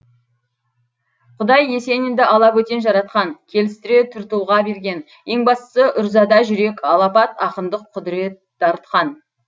құдай есенинді алабөтен жаратқан келістіре түр тұлға берген ең бастысы үрзада жүрек алапат ақындық құдірет дарытқан